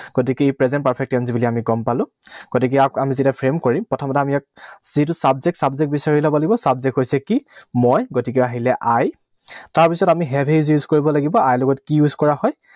গতিকে ই present perfect tense বুলি আমি গম পালো। গতিকে ইয়াক আমি যেতিয়া frame কৰিম, প্ৰথমতে আমি ইয়াত যিটো subject, subject বিচাৰি লব লাগিব। Subject হৈছে কি? মই, গতিকে আহিলে I, তাৰপিছত আমি have has use কৰিব লাগিব। I লগত কি use কৰা হয়?